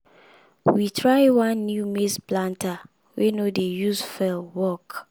we try one new maize planter wey no dey use fuel work.